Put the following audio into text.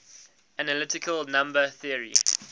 analytic number theory